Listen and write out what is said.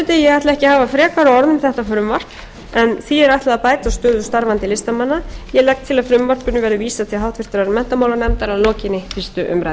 þetta frumvarp en því er ætlað að bæta úr stöðu starfandi listamanna ég legg til að frumvarpinu verði vísað til háttvirtrar menntamálanefndar að lokinni fyrstu umræðu